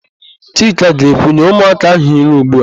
Chika ga-ekwu, "nye ụmụaka áhụ̀ nri ugbu a"!